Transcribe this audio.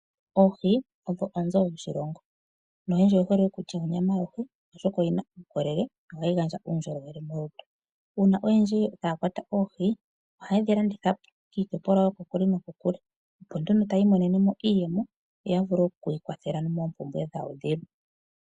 Oohi odho onzo yoshilongo no yendji oye hole okulya onyama yohi oshoka oyina uukolele no kugandja uundjolowele. Uuna oyendji taya kwata oohi ohaye dhi landithapo kiitopolwa yokokule nokokule opo nduno tayi monene mo iiyemo opo ya vule okwiikwathela moompumbwe dhawo dhilwe.